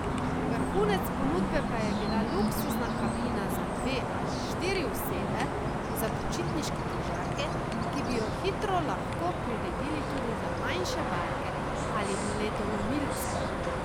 Vrhunec ponudbe pa je bila luksuzna kabina za dve ali štiri osebe za počitniške križarke, ki bi jo hitro lahko priredili tudi za manjše barke ali ledolomilce.